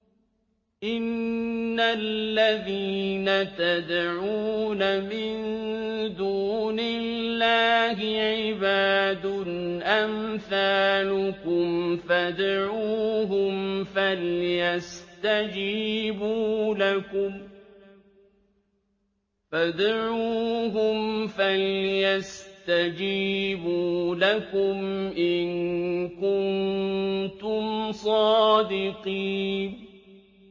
إِنَّ الَّذِينَ تَدْعُونَ مِن دُونِ اللَّهِ عِبَادٌ أَمْثَالُكُمْ ۖ فَادْعُوهُمْ فَلْيَسْتَجِيبُوا لَكُمْ إِن كُنتُمْ صَادِقِينَ